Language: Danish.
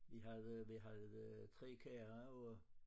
Vi havde vi havde 3 køer og